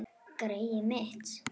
Greyið mitt